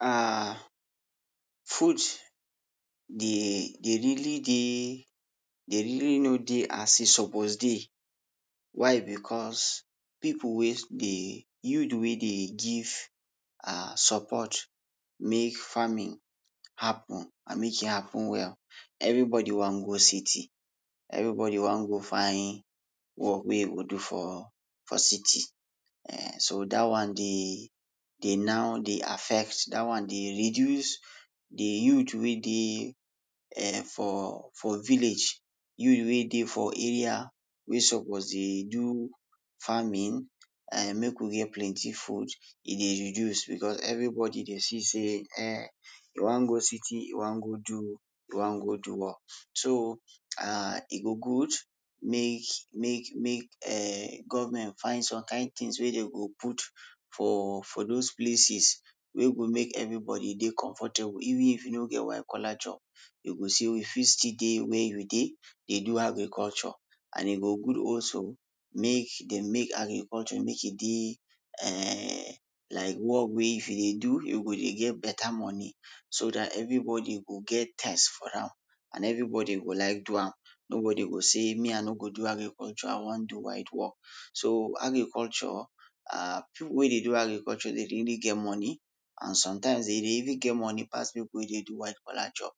aah Food de, de really dey, really no dey as e suppose dey. Why becos pipul wey dey, youth wey dey give [aahh] support make farming happen and make e happen well everybodi wan go city, everybodi wan go find work wey e go do for city. eeh So dat one de now, dey affect, dat one dey reduce de youth wey dey eeh for for village, youth wey dey for area wey suppose dey do farming eeh make we get plenti food e dey reduce becos everybodi dey see sey eeh you wan go city, you wan go do, you wan go do work. So, e go good make, make, make [eehh] government find some kind tins wey dey go put for, for dos places wey go make everybodi dey comfortable even if you no get white collar job you go sey, oh, you fit still dey wia you dey, dey do agriculture and e go good also make dem make agriculture make e dey [eehh] like work wey if you dey do you go dey get beta moni, so dat everybodi go get thirst for am, and everybodi go like do am, nobodi go sey ‘me ah no go do agriculture, ah wan do white work.’ So agriculture, aah pipul wey dey do agriculture de really get work and sometimes dey dey really get moni pass pipul wey dey do white collar job,